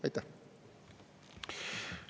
Aitäh!